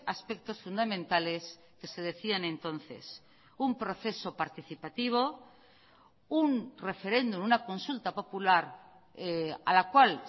aspectos fundamentales que se decían entonces un proceso participativo un referéndum una consulta popular a la cual